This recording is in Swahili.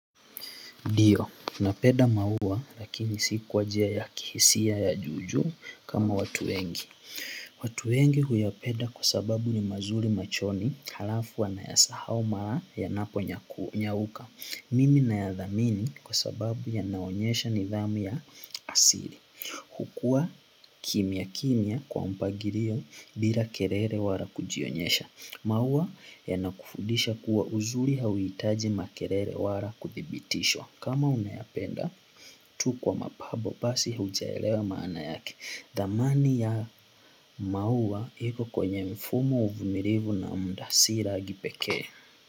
Ndio, napenda maua lakini si kwajia ya kihisia ya juujuu kama watu wengi. Watu wengi huyapeda kwa sababu ni mazuri machoni halafu anayasahau mara yanapo nyauka. Mimi nayadhamini kwa sababu yanaonyesha nidhamu ya asiri. Hukua kimia kimia kwa mpagirio bila kerere wala kujionyesha. Maua yanakufundisha kuwa uzuri hauitaji makerere wala kuthibitishwa. Kama unayapenda tu kwa mapabo basi hujaelewa maana yake dhamani ya maua iko kwenye mfumo uvumirivu na mda si ragi pekee.